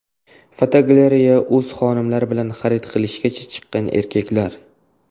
Fotogalereya: O‘z xonimlari bilan xarid qilishga chiqqan erkaklar.